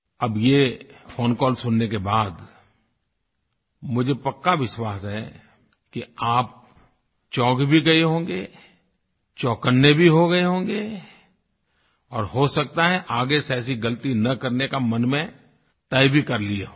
अब ये phone call सुनने के बाद मुझे पक्का विश्वास है कि आप चौंक भी गये होंगे चौकन्ने भी हो गये होंगे और हो सकता है आगे से ऐसी गलती न करने का मन में तय भी कर लिये होंगे